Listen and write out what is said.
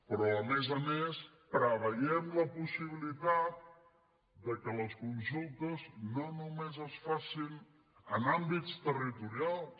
però a més a més preveiem la possibilitat que les consultes no només es facin en àmbits territorials